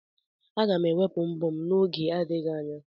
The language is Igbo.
Aga m ewepụ mbọ m n'oge adịghị anya.